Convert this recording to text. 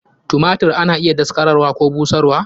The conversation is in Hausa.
Tumatir ana iya daskararwa Koh busharwa.